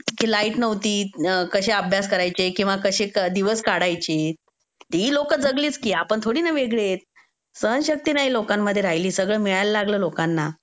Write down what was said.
की लाईट नव्हती, कशे अभ्यास करायचे किंवा कशे दिवस काढायचे. ती ही लोक जगलीच की आपण थोडिना वेगळेत. सहनशक्ती नई लोकांमध्ये राहिली. सगळं मिळायला लागलं लोकांना.